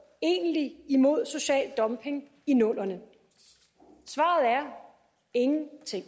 egentlig imod social dumping i nullerne svaret er ingenting